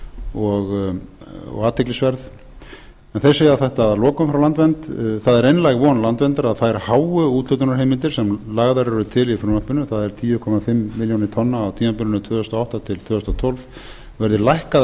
athyglisverð en þeir segja þetta að lokum frá landvernd það er einlæg von landverndar að þær háu úthlutunarheimildir sem lagðar eru til í frumvarpinu það er tíu komma fimm milljónir tonna á tímabilinu tvö þúsund og átta til tvö þúsund og tólf verði lækkaðar